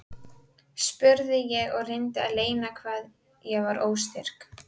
spurði ég og reyndi að leyna hvað ég var óstyrk.